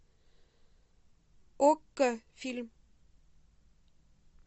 окко фильм